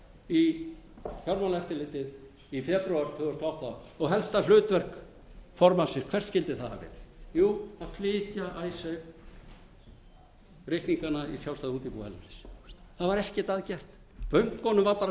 í fjármálaeftirlitið í febrúar tvö þúsund og átta og helsta hlutverk formannsins hvert skyldi það hafa verið jú að flytja icesave reikningana í sjálfstæð útibú erlendis það var ekkert að gert bönkunum var bara treyst fyrir því og